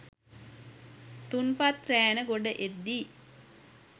තුන්පත් රෑන ගොඩ එද්දී